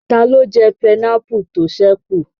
Taló jẹ pineapple tó ṣẹ́ kù?